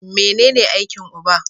Mene ne aikin uba?